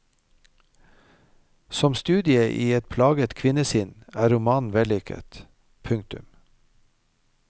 Som studie i et plaget kvinnesinn er romanen vellykket. punktum